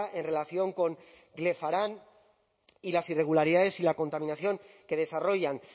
en relación con glefaran y las irregularidades y la contaminación que desarrollan